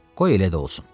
Qoy elə də olsun.